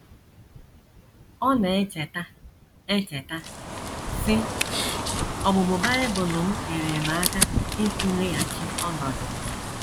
Ọ na - echeta echeta, sị: “ Ọmụmụ Bible m nyeere m aka ịtụleghachi ọnọdụ m.